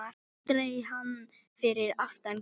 Aldrei hann fyrir aftan kýr